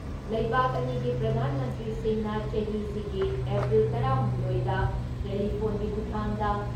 ꯂꯩꯕꯥꯥꯛ ꯑꯅꯤꯒꯤ ꯄ꯭ꯔꯙꯥꯟ ꯃꯟꯇ꯭ꯔꯤꯁꯤꯡꯅ ꯆꯍꯤꯁꯤꯒꯤ ꯑꯦꯄ꯭ꯔꯤꯜ ꯇꯔꯥ ꯍꯨꯝꯗꯣꯏꯗ ꯇꯦꯂꯤꯐꯣꯟꯒꯤ ꯈꯨꯊꯥꯡꯗ